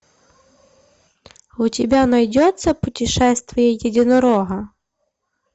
у тебя найдется путешествие единорога